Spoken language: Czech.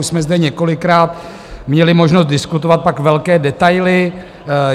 Už jsme zde několikrát měli možnost diskutovat tak velké detaily.